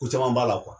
Ko caman b'a la